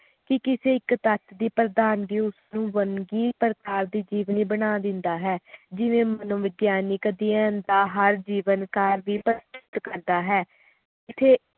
ਕਿ ਕਿਸੇ ਇਕ ਤੱਤ ਦੀ ਪ੍ਰਧਾਨਗੀ ਉਸ ਨੂੰ ਵਾਂਗੀ ਪ੍ਰਭਾਵੀ ਜੀਵਨੀ ਬਣਾ ਦਿੰਦਾ ਹੈ ਜਿਵੇ ਮਨੋਵਿਗਿਆਨਿਕ ਦਾ ਹਰ ਜੀਵਨਕਾਲ ਵਿਚ ਕਰਦਾ ਹੈ ਜਿਥੇ